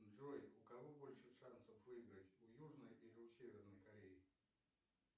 джой у кого больше шансов выиграть у южной или у северной кореи